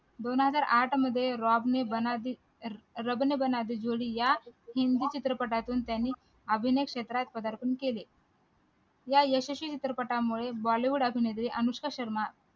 दोन हजार आठ मध्ये रबने बनादी जोडी या हिंदी चित्रपटातून त्यांनी अभिनय क्षेत्रात केले या यशस्वी चित्रपटामुळे bollywood अभिनेत्री अनुष्का शर्माप्रधारपण